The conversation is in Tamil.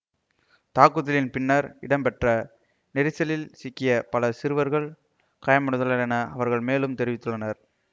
தாக்குதலின் பின்னர் இடம்பெற்ற நெரிசலில் சிக்கியே பல சிறுவர்கள் காயமடைந்தனர் என அவர்கள் மேலும் தெரிவித்தனர்